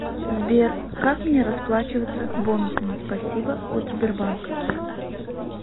сбер как мне расплачиваться бонусами спасибо от сбербанка